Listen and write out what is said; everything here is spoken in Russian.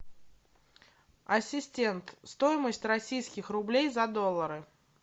ассистент стоимость российских рублей за доллары